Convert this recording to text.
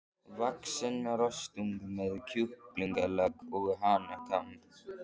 vaxinn rostung með kjúklingaleggi og hanakamb.